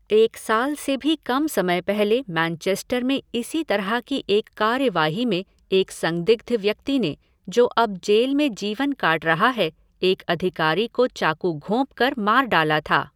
एक साल से भी कम समय पहले मैनचेस्टर में इसी तरह की एक कार्यवाही में एक संदिग्ध व्यक्ति ने, जो अब जेल में जीवन काट रहा है, एक अधिकारी को चाकू घोंपकर मार डाला था।